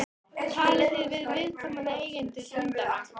Talið þið við viðkomandi eigendur hundanna?